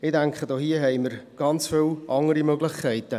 Ich denke, wir haben hier ganz viele andere Möglichkeiten.